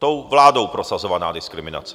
Tou vládou prosazovaná diskriminace.